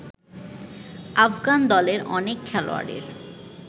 আফগান দলের অনেক খেলোয়াড়ের